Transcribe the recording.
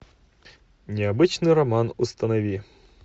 необычный роман установи